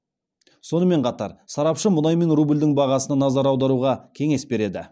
сонымен қатар сарапшы мұнай мен рубльдің бағасына назар аударуға кеңес береді